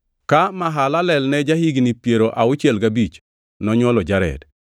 Ka Mahalalel ne ja-higni piero auchiel gabich, nonywolo Jared.